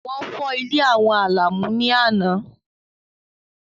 Wọ́n fọ́ ilé àwọn Àlàmú ní àná.